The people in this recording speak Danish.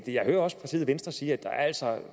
jeg hører også partiet venstre sige at der altså